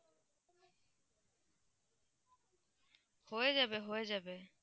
হয়ে যাবে হয়ে যাবে